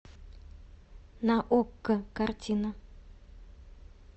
на окко картина